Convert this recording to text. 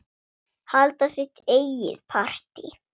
Halda sitt eigið partí.